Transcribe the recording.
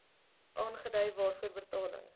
aangedui waarvoor betaling